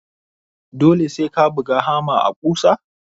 Dole sai ka buga hamma a ƙusa?